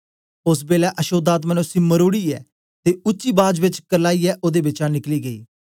ओस बेलै अशोद्ध आत्मा ने उसी मरोड़ीयै ते उच्ची बाज बेच करलाईयै ओदे बिचा निकली गेई